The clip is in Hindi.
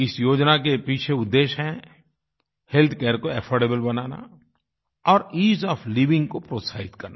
इस योजना के पीछे उद्देश्य है हेल्थ केयर को अफोर्डेबल बनाना और ईज़ ओएफ लाइविंग को प्रोत्साहित करना